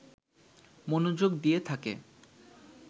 মনযোগ দিয়ে থাকে